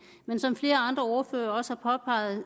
men som flere andre ordførere også har påpeget